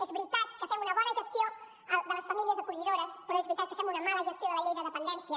és veritat que fem una bona gestió de les famílies acollidores però és veritat que fem una mala gestió de la llei de dependència